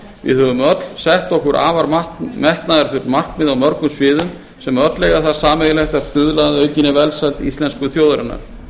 við höfum öll sett okkur afar metnaðarfull markmið á mörgum sviðum sem öll eiga það sameiginlegt að stuðla að aukinni velsæld íslensku þjóðarinnar